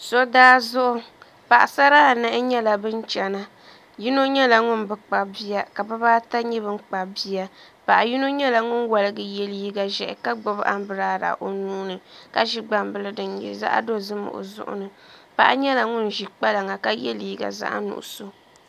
So daa zuɣu paɣasara anahi nyɛla bin chɛna yino nyɛla ŋun bi kpabi bia ka ka bibaata nyɛ bin kpabi bia paɣa yino nyɛla ŋun woligi yɛ liiga ʒiɛhi ka gbubi anbirala o nuuni ka ʒi gbambila din nyɛ zaɣ dozim o zuɣu ni paɣa nyɛla ŋun ʒi kpalaŋa ka yɛ liiga zaɣ nuɣso